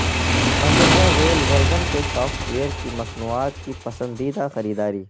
مندرجہ ذیل ورژن کے سافٹ ویئر کی مصنوعات کی پسندیدہ خریداری